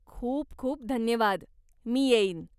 खूप खूप धन्यवाद, मी येईन.